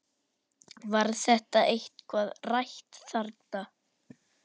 Var þetta eitthvað rætt þarna?